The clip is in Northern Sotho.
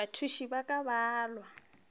bathuši ba ka ba balwa